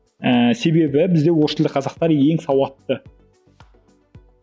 ііі себебі бізде орыс тілді қазақтар ең сауатты